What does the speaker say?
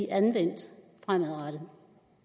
anvendt fremadrettet